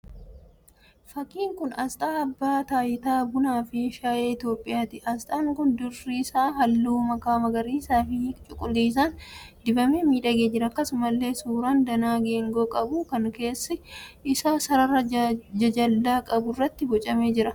Fakkiin kun Asxa abbaa taayitaa bunaa fi shaayee Itiyoopiyaati. Asxaan kun dirri isaa halluu makaa magariisaa fi cuquliisaan dibamee miidhagee jira. Akkasumallee suuraan danaa geengoo qabu kan keessi isaa sarara jajallaa qabu irratti boocamee jira.